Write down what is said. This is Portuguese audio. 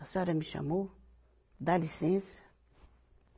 A senhora me chamou, dá licença.